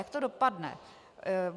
Jak to dopadne?